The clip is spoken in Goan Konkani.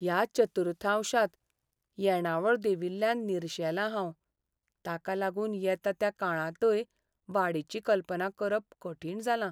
ह्या चतुर्थांशांत येणावळ देंविल्ल्यान निरशेंलां हांव, ताका लागून येता त्या काळांतय वाडीची कल्पना करप कठीण जालां.